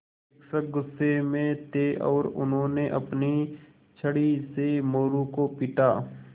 शिक्षक गुस्से में थे और उन्होंने अपनी छड़ी से मोरू को पीटा